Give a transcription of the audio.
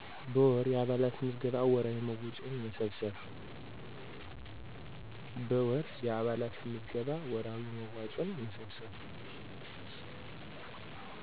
በወር። የአባላት ምዝገባ ወርሀዊ መዋጮ መሰብሰብ